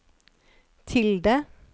tilde